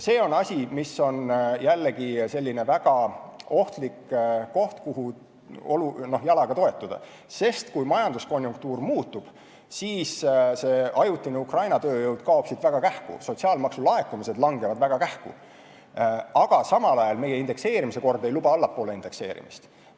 See on jällegi selline väga ohtlik koht, kuhu n-ö jalaga toetuda, sest kui majanduskonjunktuur muutub, siis kaob ajutine Ukraina tööjõud siit väga kähku ja sotsiaalmaksulaekumised langevad kiiresti, samal ajal aga meie indekseerimise kord ei luba allapoole indekseerimist.